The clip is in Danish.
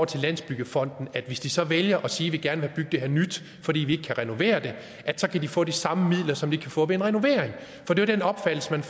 til landsbyggefonden hvis de så vælger at sige at de gerne vil bygge det her nyt fordi de ikke kan renovere det kan få de samme midler som de kan få ved en renovering for den opfattelse man